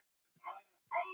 Þeir voru að fara.